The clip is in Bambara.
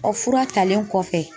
Ɔ fura talen kɔfɛ